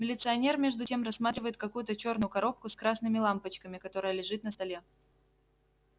милиционер между тем рассматривает какую-то чёрную коробку с красными лампочками которая лежит на столе